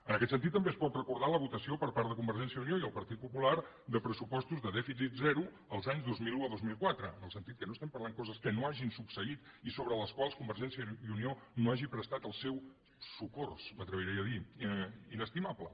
en aquest sentit també es pot recordar la votació per part de convergència i unió i el partit popular de pressupostos de dèficit zero els anys dos mil un a dos mil quatre en el sentit que no estem parlant de coses que no hagin succeït i sobre les quals convergència i unió no hagi prestat el seu socors m’atreviria a dir inestimable